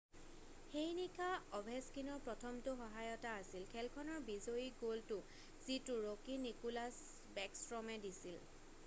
সেই নিশা অভেছকিনৰ প্ৰথমটো সহায়তা আছিল খেলখনৰ বিজয়ী গ'লটো যিটো ৰ'কি নিকোলাছ বেকষ্ট্ৰমে দিছিল